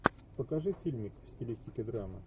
покажи фильмик в стилистике драма